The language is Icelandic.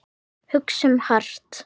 Hugsum hart.